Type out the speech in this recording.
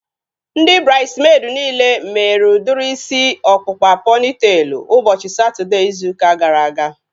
Ndị braidmeid niile mere udiri isi ọkpụkpa pọnitelu ụbọchị Satọdee izu ụka gara aga